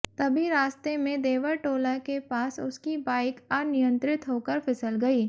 तभी रास्ते में देवरटोला के पास उसकी बाइक अनियंत्रित होकर फिसल गई